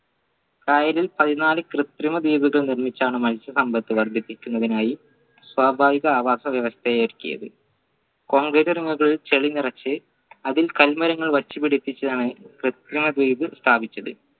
കായലിൽ പതിനാല് കൃത്രിമ ദ്വീപുകൾ നിർമിച്ചാണ് മത്സ്യ സമ്പത്ത് വർദ്ധിപ്പിക്കുന്നതിനായി സ്വാഭാവിക അവസവ്യവസ്ഥയെ ഒരുക്കിയത് concrete ചളി നിറച് അതിൽ കൽമരങ്ങൾ വച്ചുപിടിപ്പിച്ചതാണ് കൃത്രിമ ദ്വീപ് സ്ഥാപിച്ചത്